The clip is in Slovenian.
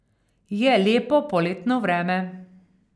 Je lepo poletno vreme.